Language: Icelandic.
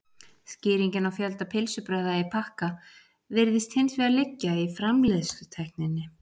skýringin á fjölda pylsubrauða í pakka virðist hins vegar liggja í framleiðslutækninni